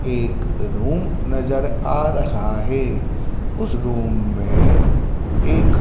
एक रूम नज़र आ रहा है उस रूम मे एक--